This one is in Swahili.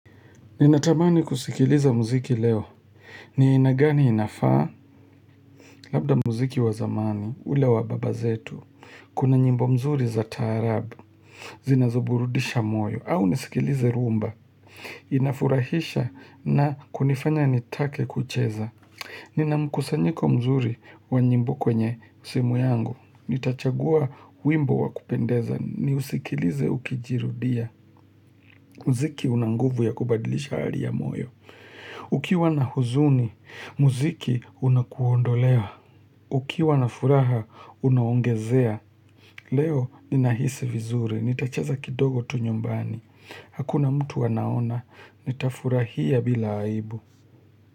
Ninatamani kusikiliza mziki leo. Ni ainagani inafaa, labda mziki wazamani, ule wababazetu, kuna nyimbo mzuri za tarabu, zinazoburudisha moyo, au nisikilize rumba. Inafurahisha na kunifanya nitake kucheza. Nina mkusanyiko mzuri wa nyimbo kwenye simu yangu. Nitachagua wimbo wa kupendeza, ni usikilize ukijirudia. Mziki unanguvu ya kubadilisha ari ya moyo. Ukiwa na huzuni, muziki unakuondolewa. Ukiwa na furaha, unaongezea. Leo ninahisi vizuri, nitacheza kidogo tu nyumbani. Hakuna mtu anaona, nita furahia bila aibu.